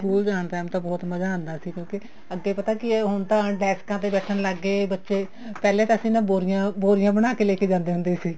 school ਜਾਣ time ਤਾਂ ਬਹੁਤ ਮਜ਼ਾ ਆਉਂਦਾ ਸੀ ਕਿਉਂਕਿ ਅੱਗੇ ਪਤਾ ਕੀ ਹੁਣ ਤਾਂ ਡੈਸਕਾਂ ਤੇ ਬੈਠਣ ਲੱਗ ਗਏ ਬੱਚੇ ਪਹਿਲੇ ਤਾਂ ਅਸੀਂ ਨਾ ਬੋਰੀਆਂ ਬੋਰੀਆਂ ਬਣਾ ਕੇ ਲੈਕੇ ਜਾਂਦੇ ਹੁੰਦੇ ਸੀ